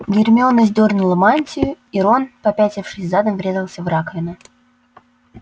гермиона сдёрнула мантию и рон попятившись задом врезался в раковину